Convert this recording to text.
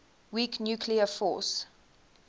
weak nuclear force